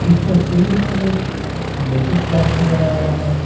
इस तस्वीर में एक म्यूजिक क्लास नजर आ रहा है।